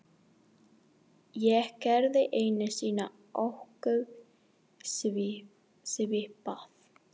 Ég gerði einu sinni ósköp svipað.